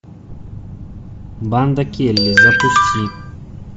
банда келли запусти